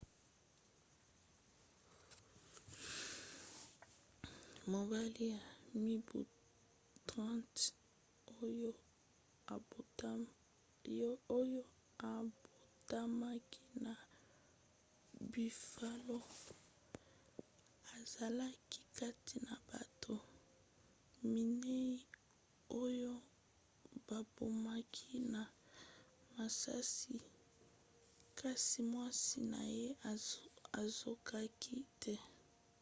mobali ya mibu 30 oyo abotamaki na buffalo azalaki kati na bato minei oyo babomaki na masasi kasi mwasi na ye azokaki te